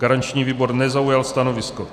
Garanční výbor nezaujal stanovisko.